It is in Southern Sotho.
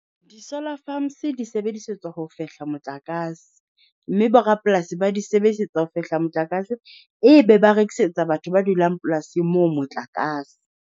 Di-solar farms di sebedisetswa ho fehla motlakase mme borapolasi ba di sebedisetsang ho fehla motlakase, e be ba rekisetsa batho ba dulang polasing moo motlakase.